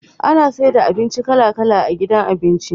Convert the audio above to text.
Ana saida abinci kala kala a gidan abinci